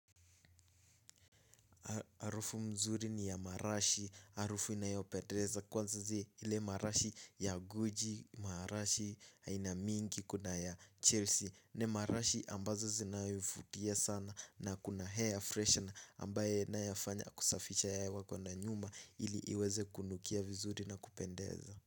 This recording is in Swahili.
Harufu mzuri ni ya marashi, harufu inayopendeza kwanza zi ile marashi ya guji, marashi aina mingi kuna ya Chelsea. Ni marashi ambazo zi naifutia sana na kuna air freshener ambayo inayafanya kusafisha hewa wako na nyuma ili iweze kunukia vizuri na kupendeza.